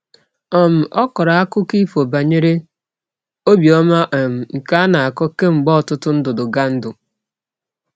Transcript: um Ọ kọrọ akụkọ ifo banyere obiọma um nke a na-akọ kemgbe ọtụtụ ndudugandu.